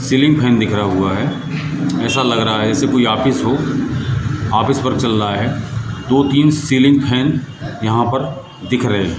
ceiling fan दिख रा हुआ है ऐसा लग रहा है जैसे कोई ऑफिस हो ऑफिस वर्क चल रहा है दो तीन सीलिंग फैन यहां पर दिख रहे --